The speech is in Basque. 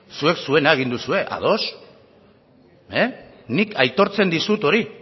zuek zuena egin duzue ados nik aitortzen dizut hori